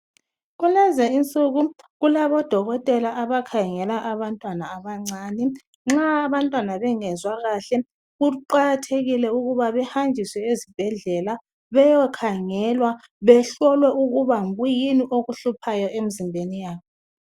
Kulezinsuku kulabo dokotela abakhangela abantwana abancane nxa abantwana bengezwa kahle kuqakathekile ukuba behanjiswe ezibhedlela beyokhangelwa behloliwe ukuba yikuyini okuhluphayo emizimbeni yabo.